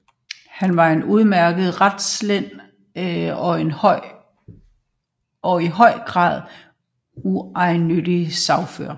Han var en udmærket retslærd og en i høj grad uegennyttig sagfører